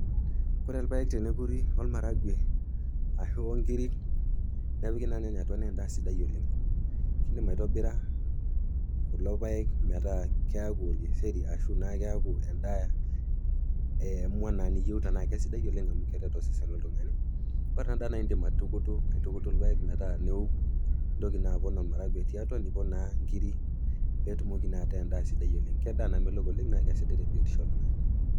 Ore ilpaek tenekuri olmaragwe ashu o nkiri nepiki naa ilnyanya atua naa endaa sidai oleng. Indim aitobira kulo paek metaa keaku olkeseri ashu naa keaku endaa emua naa niyeuta naa kesidai oleng tiatua osesen loltung'ani, ore ena daa na indim aitukutu ipaek metaa neoku, nintoki naa apon olmaragwe tiatua, nipon naa inkiri pee etumoki naa ataa endaa sidai oleng. Ke endaa sidai oleng naa sidai tebiotisho oltung'ana.